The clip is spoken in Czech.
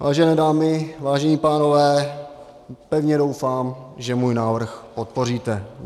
Vážené dámy, vážení pánové, pevně doufám, že můj návrh podpoříte.